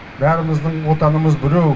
бәріміздің отанымыз біреу